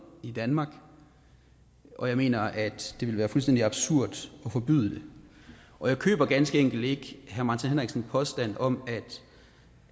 i danmark og jeg mener at det ville være fuldstændig absurd at forbyde det og jeg køber ganske enkelt ikke herre martin henriksens påstand om